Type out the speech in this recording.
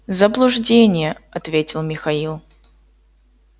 заблуждение ответил михаил